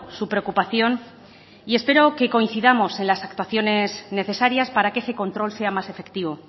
su preocupación y espero que coincidamos en las actuaciones necesarias para que ese control sea más efectivo